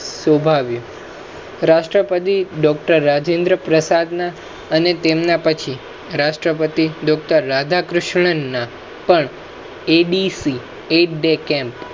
સોભાવ્યું રાષ્ટ્રપતિ doctor રાજેન્દ્ર પ્રસાદ ના અને તેમના પછી રાષ્ટ્રપતિ doctor રાધાક્રિષન્ન્ના પણ abccam